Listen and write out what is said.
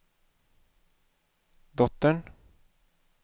dottern